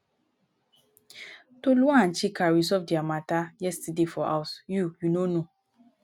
tolu and chika resolve their matter yesterday for house. you you no know?